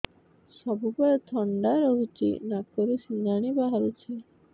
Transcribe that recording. ସବୁବେଳେ ଥଣ୍ଡା ରହୁଛି ନାକରୁ ସିଙ୍ଗାଣି ବାହାରୁଚି